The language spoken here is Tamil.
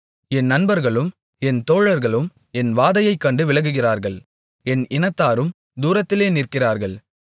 என் நண்பர்களும் என் தோழர்களும் என் வாதையைக் கண்டு விலகுகிறார்கள் என் இனத்தாரும் தூரத்திலே நிற்கிறார்கள்